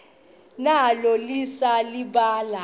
nalo lise libaha